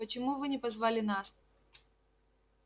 почему вы не позвали нас